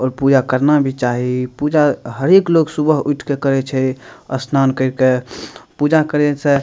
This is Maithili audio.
और पूजा करना भी चाही पूजा हर एक लोग सुबह उठ के करे छे स्नान कर के पूजा करे से --